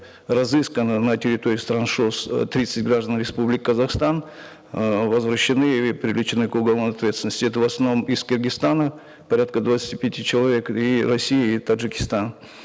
разыскано на территории стран шос э тридцать граждан республики казахстан э возвращены и привлечены к уголовной ответственности это в основном из киргизстана порядка двадцати пяти человек и россии и таджикистана